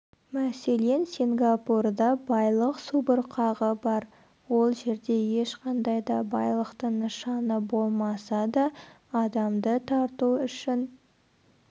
мәселен сингапурда байлық субұрқағы бар ол жерде ешқандай да байлықтың нышаны болмаса да адамды тарту үшін